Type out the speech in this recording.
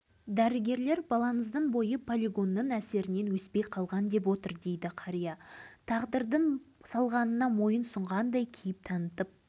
сегізінші балам қанат биыл толды бірақ өспей қалды бойының биіктігі сантиметр ешбір жер жұмысқа алмайды үкімет